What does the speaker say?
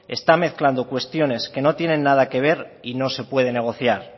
están mezclando cuestiones que no tienen nada que ver y no se puede negociar